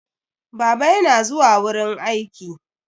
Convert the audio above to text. Baba yana zuwa wurin aiki.